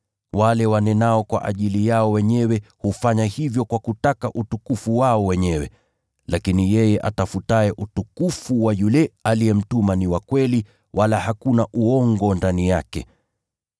Wale wanenao kwa ajili yao wenyewe hufanya hivyo kwa kutaka utukufu wao wenyewe. Lakini yeye atafutaye utukufu wa yule aliyemtuma ni wa kweli, wala hakuna uongo ndani yake.